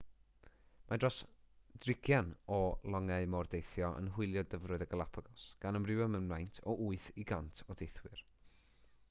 mae dros 60 o longau mordeithio yn hwylio dyfroedd y galapagos gan amrywio mewn maint o 8 i 100 o deithwyr